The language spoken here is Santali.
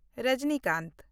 ᱨᱚᱡᱤᱱᱤᱠᱟᱱᱛ